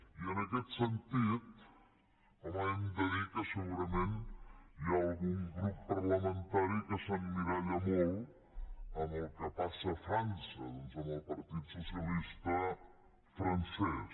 i en aquest sentit home hem de dir que segurament hi ha algun grup parlamentari que s’emmiralla molt amb el que passa a frança amb el partit socialista francès